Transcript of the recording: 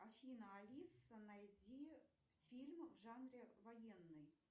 афина алиса найди фильм в жанре военный